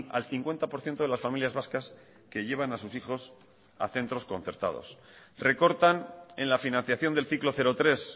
al cincuenta por ciento de las familias vascas que llevan a sus hijos a centros concertados recortan en la financiación del ciclo cero tres